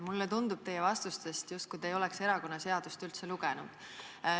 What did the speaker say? Mulle tundub teie vastustest, justkui te ei oleks erakonnaseadust üldse lugenud.